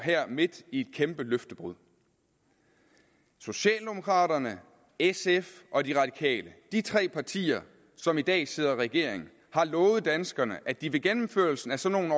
midt i et kæmpe løftebrud socialdemokraterne sf og de radikale de tre partier som i dag sidder i regering har lovet danskerne at de ved gennemførelsen af sådan